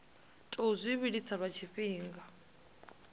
tou zwi vhilisa lwa tshifhinga